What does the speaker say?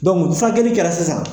furakɛli kɛla sisan